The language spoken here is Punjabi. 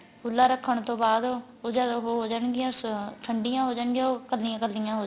ਖੁਲਾ ਰੱਖਣ ਤੋਂ ਬਾਅਦ ਉਹ ਜਦ ਉਹ ਹੋ ਜਾਣ ਗਿਆਂ ਠੰਡੀਆਂ ਹੋ ਜਾਣ ਗਿਆਂ ਕੱਲੀਆਂ ਕੱਲੀਆਂ ਹੋ ਜਾਣ